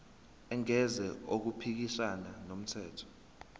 engenzi okuphikisana nomthetho